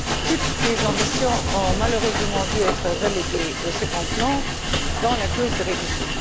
Toutes ces ambitions ont malheureusement dû être reléguées au second plan dans la clause de révision.